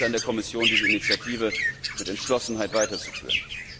Jetzt ist es an der Kommission, diese Initiative mit Entschlossenheit weiterzuführen.